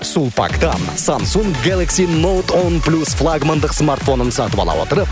сулпактан самсунг гелакси ноут он плюс флагмандық смартфонын сатып ала отырып